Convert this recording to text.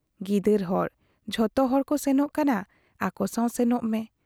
ᱜᱤᱫᱟᱹᱨ ᱦᱚᱲ ᱾ ᱡᱷᱚᱛᱚ ᱦᱚᱲ ᱠᱚ ᱥᱮᱱᱚᱜ ᱠᱟᱱᱟ, ᱟᱠᱚᱥᱟᱶ ᱥᱮᱱᱚᱜ ᱢᱮ ᱾